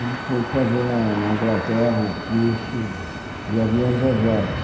Ele foi fazer na na Inglaterra o curso de aviões a jato.